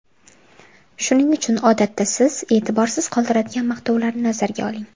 Shuning uchun odatda siz e’tiborsiz qoldiradigan maqtovlarni nazarga oling.